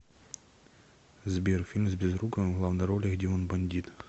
сбер фильм с безруковым в главной роли где он бандит